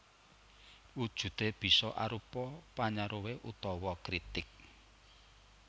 Wujudé bisa arupa panyaruwé utawa kritik